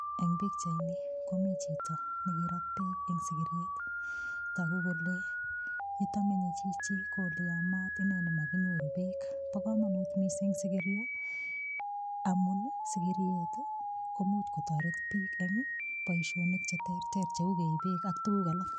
Eng' pikchaini komi chito nekirat beek eng' sikiriet toku kole yuto menyei Chichi ko ole yamat ineni makinyoru beek Bo komonut mising' sikirio amun sikiriet ko muuch kotoret biik eng' boishonik cheterter cheu keib beek ak tukuk alak